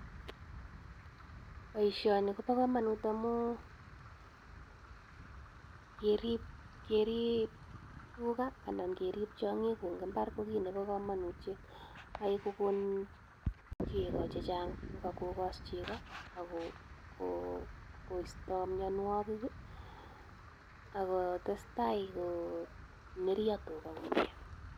Boisioni kobokomonut amun kerib tuga anan kerib tiong'ik en mbar ko kit nebo komonutiet. Yoe kogon chego chechang yoe kogos chego ak ko koisto mianwogik ak kotestai koneryo tuga komyee.